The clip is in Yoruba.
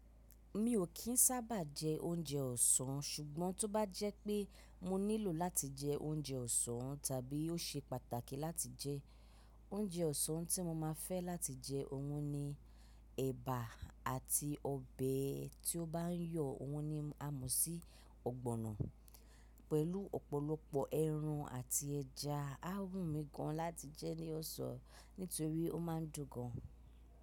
Mi ò kín sábà jẹ oúnjẹ ọ̀sán, ṣùgbọ́n tó bá jẹ́ pé mo nílò láti jẹ oúnjẹ ọ̀sán tàbí ó ṣe pàtàkì láti jẹ, oúnjẹ ọ̀sán tí mo máa fẹ́ láti jẹ òun ni ẹbà àti ọbẹ̀ tí ó bá yọ̀, òun ni àmọ̀sí ọ̀gbọ̀nọ̀ pẹ̀lú ọ̀pọ̀lọpọ̀ ẹran àti ẹja. Á wù mí gan láti jẹ ní ọ̀sán nítorí ó ma ń dùn gan.